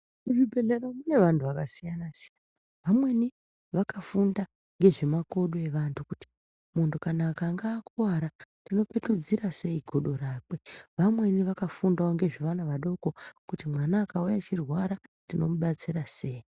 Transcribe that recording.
Kuzvibhedhlera mune vanhu zvakasiyana-siyana, vamweni vakafunda ngezvemakodo evantu kuti kana muntu akanga akuwara unopetudzira sei godo rakwe, vamweni vakafundawo ngezvevana vadoko kuti mwana akauya achirwara tinomubatsira sei.